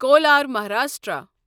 cooler Maharashtra